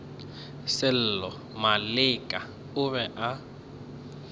sello maleka o be a